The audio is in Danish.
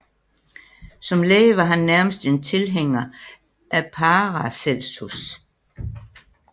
Som læge var han nærmest en tilhænger af Paracelsus